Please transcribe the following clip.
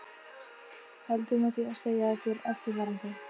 Heldur með því að segja þér eftirfarandi